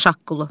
Şaqqulu.